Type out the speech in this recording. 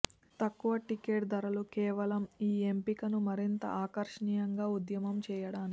తక్కువ టిక్కెట్ ధరలు కేవలం ఈ ఎంపికను మరింత ఆకర్షణీయంగా ఉద్యమం చేయడానికి